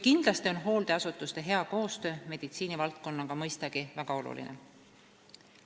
Mõistagi on hooldeasutuste hea koostöö meditsiinivaldkonnaga väga oluline.